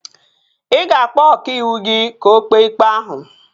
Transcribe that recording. Ị ga-akpọ ọkàiwụ gị ka o kpee ikpe ahụ